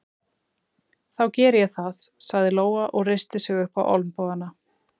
Þá geri ég það, sagði Lóa og reisti sig upp á olnbogana.